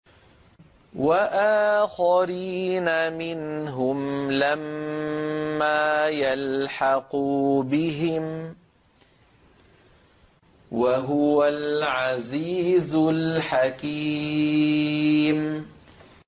وَآخَرِينَ مِنْهُمْ لَمَّا يَلْحَقُوا بِهِمْ ۚ وَهُوَ الْعَزِيزُ الْحَكِيمُ